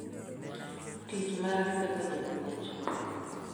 Tich mare kaka japuonj.